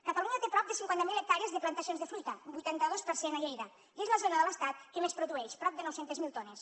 catalunya té prop de cinquanta mil hectàrees de plantacions de fruita un vuitanta dos per cent a lleida i és la zona de l’estat que més produeix prop de nou cents miler tones